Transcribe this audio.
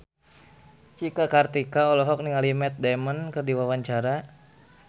Cika Kartika olohok ningali Matt Damon keur diwawancara